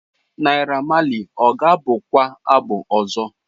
Naira Marley ọ ga-abụ kwa abụ ọzọ?